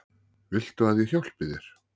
Viltu að ég hjálpi þér?